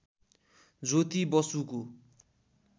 ज्योति बसुको